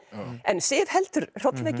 en Sif heldur